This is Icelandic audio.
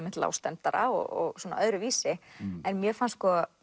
lágstemmdara og svona öðruvísi en mér fannst